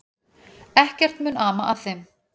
Ekkert mun ama að þeim.